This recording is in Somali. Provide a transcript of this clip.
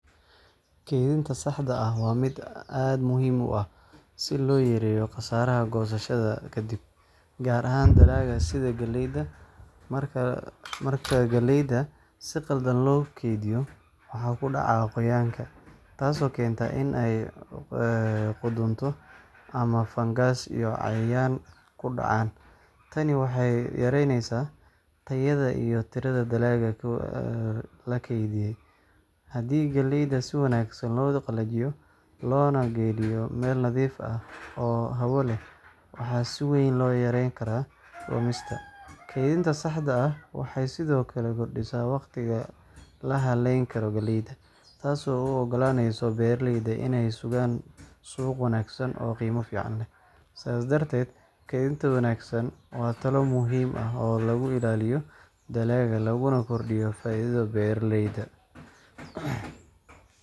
Kaydinta saxda ah waa mid aad muhiim u ah si loo yareeyo khasaaraha goosashada ka dib, gaar ahaan dalag sida galleyda. Marka galleyda si qaldan loo kaydiyo, waxaa ku dhaca qoyaanka, taasoo keenta in ay qudhunto ama fangas iyo cayayaan ku dhacaan. Tani waxay yareyneysaa tayada iyo tirada dalagga la kaydiyay. Haddii galleyda si wanaagsan loo qalajiyo, loona geliyo meel nadiif ah oo hawo leh, waxa si weyn loo yarayn karaa lumista. Kaydinta saxda ah waxay sidoo kale kordhisaa waqtiga la hayn karo galleyda, taasoo u oggolaanaysa beeraleyda inay sugaan suuq wanaagsan oo qiimo fiican leh. Sidaas darteed, kaydinta wanaagsan waa talaabo muhiim ah oo lagu ilaalinayo dalagga, laguna kordhinayo faa’iidada beeraleyda.